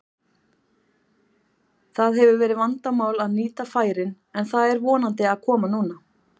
Það hefur verið vandamál að nýta færin en það er vonandi að koma núna.